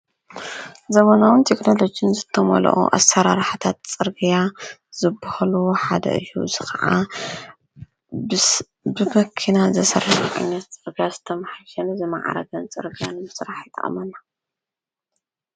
ዘመናዊ ቴክኖሎጂ ዝተመልኦ ኣሰራርሓታት ፅርግያ ዝብሃሉ ሓደ እዩ። አዚ ከዓ ብመኪና ዝተሰርሐን ዓይነት ፅርግያን ዝማዕረገን ፅርግያ ንምስራሕ ይጠቕመና።